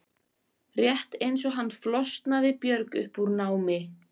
Rétt eins og hann flosnaði Björg upp úr námi.